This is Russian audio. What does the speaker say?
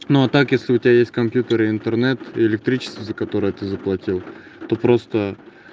ну а так если у тебя есть компьютер и интернет и электричество за которые ты заплатил то просто